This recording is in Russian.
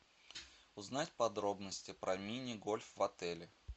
узнать подробности про мини гольф в отеле